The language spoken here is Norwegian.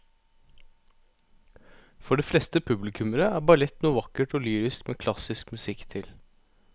For de fleste publikummere er ballett noe vakkert og lyrisk med klassisk musikk til.